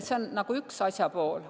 See on üks asja pool.